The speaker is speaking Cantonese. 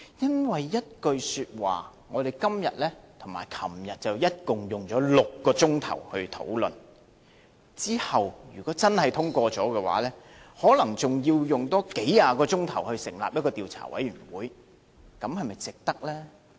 因為一句說話，我們今天和昨天總共花了6個小時討論，如果真的獲得通過的話，可能還要再花數十小時成立一個調查委員會進行調查，這是否值得呢？